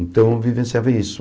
Então, vivenciava isso.